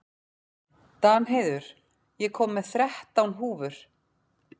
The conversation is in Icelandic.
Danheiður, ég kom með þrettán húfur!